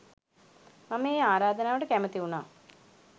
මම ඒ ආරාධනාවට කැමති වුණා.